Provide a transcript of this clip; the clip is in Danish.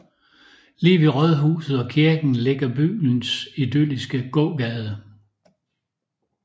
Lige ved rådhuset og kirken ligger byens idylliske gågade